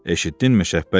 Eşitdinmi Şəhbəli?